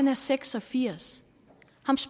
er seks og firs